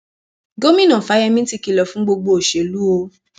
gomina fáyemí ti kìlọ fún gbogbo olóṣèlú o